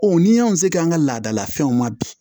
ni y'anw se an ka laadala fɛnw ma bi